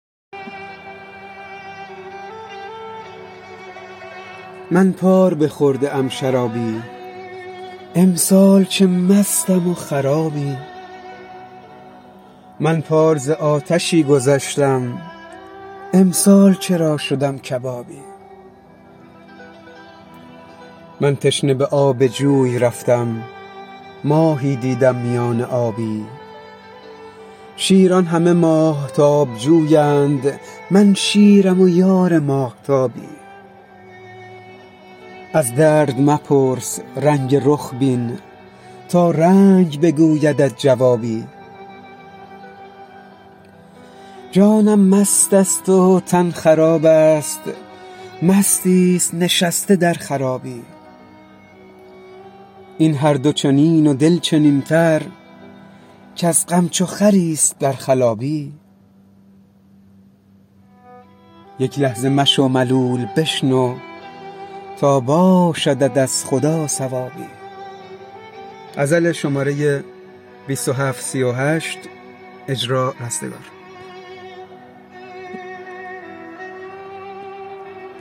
من پار بخورده ام شرابی امسال چه مستم و خرابی من پار ز آتشی گذشتم امسال چرا شدم کبابی من تشنه به آب جوی رفتم ماهی دیدم میان آبی شیران همه ماهتاب جویند من شیرم و یار ماهتابی از درد مپرس رنگ رخ بین تا رنگ بگویدت جوابی جانم مست است و تن خراب است مستی است نشسته در خرابی این هر دو چنین و دل چنینتر کز غم چو خری است در خلابی یک لحظه مشو ملول بشنو تا باشدت از خدا ثوابی